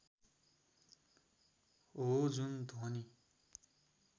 हो जुन ध्वनि